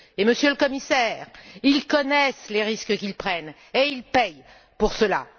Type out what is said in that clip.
Monsieur le Commissaire, ils connaissent les risques qu'ils prennent et ils paient pour cela.